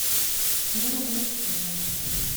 мне надо мультфильмы